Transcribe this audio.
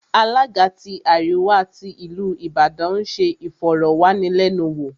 Alága tí àríwá tí ìlú Ìbàdàn ń se ìfọ̀rọ̀wánilẹ́nuwò